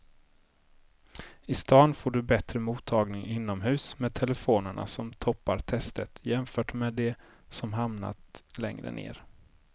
I stan får du bättre mottagning inomhus med telefonerna som toppar testet jämfört med de som hamnat längre ner.